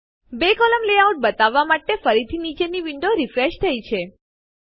બે કોલમ સ્તંભ લેઆઉટ બતાવવાં માટે ફરીથી નીચેની વિન્ડો રીફ્રેશ થઇ છે